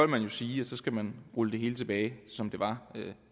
man jo sige at så skal man rulle det hele tilbage til det som det var